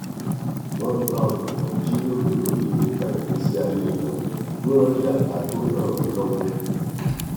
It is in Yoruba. wọn bá olùkọ jíròrò lórí ìlépa ìgbésí ayé wọn kí wọn rí àbá tó ràn wọn lọwọ